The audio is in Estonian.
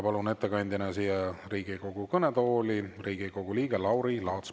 Palun ettekandeks siia Riigikogu kõnetooli Riigikogu liikme Lauri Laatsi.